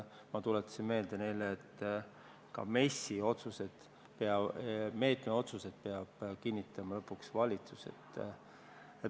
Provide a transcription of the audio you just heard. Ma tuletasin neile meelde, et ka MES-i otsused, meetmetega seotud otsused peab kinnitama lõpuks valitsus.